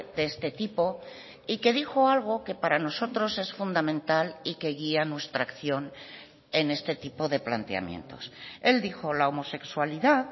de este tipo y que dijo algo que para nosotros es fundamental y que guía nuestra acción en este tipo de planteamientos él dijo la homosexualidad